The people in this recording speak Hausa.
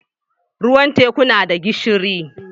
Ruwan teku na da gishiri.